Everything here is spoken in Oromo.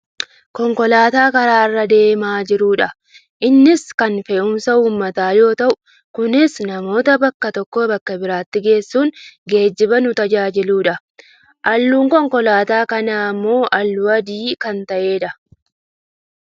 Konkolaataa karaa irra deemaa jirudha. Innis kan fe'umsa uummataa yoo ta'u kunis , namoota bakka tokkoo bakka biraatti geessuun geejjiba nu tajaajiludha. Halluun Konkolaataa kanaa ammoo halluu adii kan ta'edha.